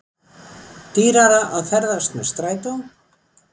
Dýrara að ferðast með strætó